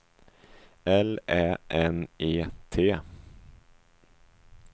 L Ä N E T